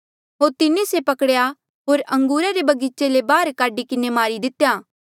होर तिन्हें से पकड़ेया होर अंगूरा रे बगीचे ले बाहर काढी किन्हें मारी दितेया